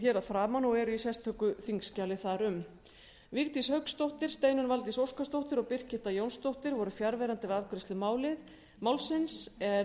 hér að framan og eru í sérstöku þingskjali þar um vigdís hauksdóttir steinunn valdís óskarsdóttir og birgitta jónsdóttir voru fjarverandi við afgreiðslu málsins